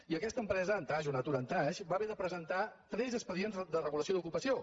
i aquesta empresa antaix o naturantaix va ha·ver de presentar tres expedients de regulació d’ocupa·ció